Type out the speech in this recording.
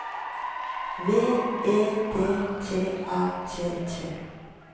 V E D T A T T